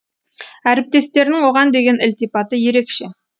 әріптестерінің оған деген ілтипаты ерекше